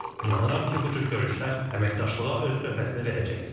İnanıram ki, bu cür görüşlər əməkdaşlığa öz töhfəsini verəcək.